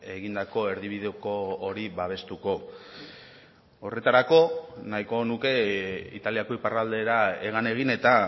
egindako erdibideko hori babestuko horretarako nahiko nuke italiako iparraldera hegan egin eta